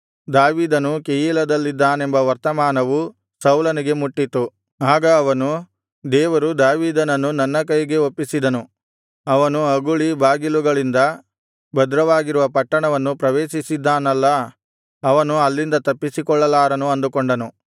ದಾವೀದನು ಕೆಯೀಲದಲ್ಲಿದ್ದಾನೆಂಬ ವರ್ತಮಾನವು ಸೌಲನಿಗೆ ಮುಟ್ಟಿತು ಆಗ ಅವನು ದೇವರು ದಾವೀದನನ್ನು ನನ್ನ ಕೈಗೆ ಒಪ್ಪಿಸಿದನು ಅವನು ಅಗುಳಿ ಬಾಗಿಲುಗಳಿಂದ ಭದ್ರವಾಗಿರುವ ಪಟ್ಟಣವನ್ನು ಪ್ರವೇಶಿಸಿದ್ದಾನಲ್ಲಾ ಅವನು ಅಲ್ಲಿಂದ ತಪ್ಪಿಸಿಕೊಳ್ಳಲಾರನು ಅಂದುಕೊಂಡು